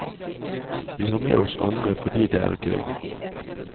Vi har med oss andre fordi det er gøy.